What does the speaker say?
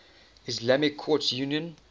islamic courts union